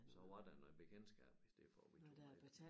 Så var der noget bekendtskab i stedet for at vi tog med